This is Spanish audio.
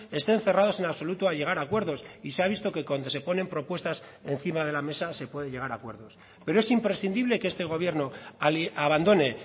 estén cerrados en absoluto a llegar a acuerdos y se ha visto que cuando se ponen propuestas encima de la mesa se puede llegar a acuerdos pero es imprescindible que este gobierno abandone